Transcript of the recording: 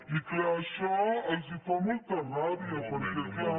i clar això els fa molta ràbia perquè clar